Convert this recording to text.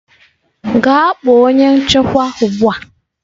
Gaa kpọọ onye nchekwa ugbu a!